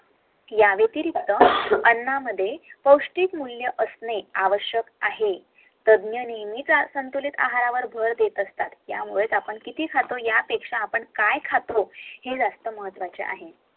यावेतिरिक्त आणणामद्धे पोष्टिक मूल्य असणे आवश्यक आहे